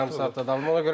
Bir yarım saat davam edir.